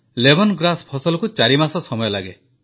lemon grass ଫସଲକୁ ଚାରିମାସ ସମୟ ଲାଗେ